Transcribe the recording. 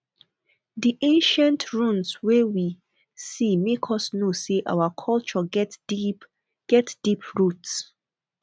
di ancient ruins wey we see make us know sey our culture get deep get deep roots